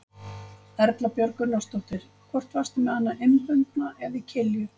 Erla Björg Gunnarsdóttir: Hvort varstu með hana innbundna eða í kilju?